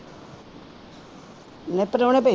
ਨਹੀਂ ਪ੍ਰਾਹੁਣੇ ਭਾਈ